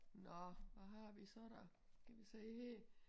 Nå hvad har vi så da skal vi se her